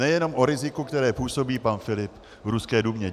Nejenom o riziku, které působí pan Filip v ruské Dumě.